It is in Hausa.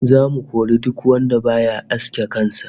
Zamu kori duk wanda baya aske kan sa